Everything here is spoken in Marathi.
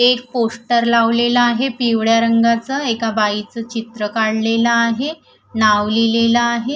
एक पोस्टर लावलेलं आहे पिवळ्या रंगाचं एका बाईच चित्र काढलेलं आहे नाव लिहिलेलं आहे.